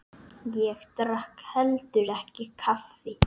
Ég drakk heldur ekki kaffi.